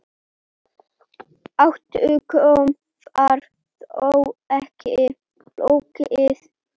Átökum var þó ekki lokið.